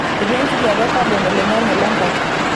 Etii enkijiepe e kabon oloing'ang'e lenkop.